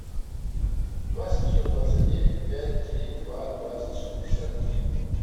два семьсот двадцать девять пять три два двадцать шестьдесят три